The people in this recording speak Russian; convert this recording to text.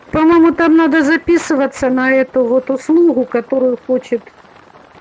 по-моему там надо записываться на эту вот услугу которую хочет